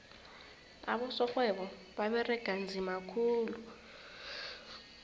abosorhwebo baberega nzima khulu